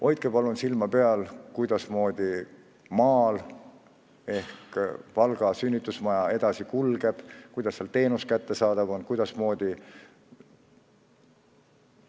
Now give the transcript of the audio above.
Hoidke palun silma peal, kuidasmoodi näiteks Valga sünnitusmajas elu edasi kulgeb, kuidas seal teenus kättesaadav on!